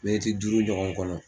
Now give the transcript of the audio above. Miniti duuru ɲɔgɔn kɔnɔ.